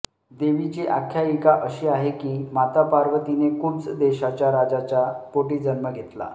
देवीची आख्यायिका अशी आहे की माता पार्वतीने कुब्ज देशाच्या राजाच्या पोटी जन्म घेतला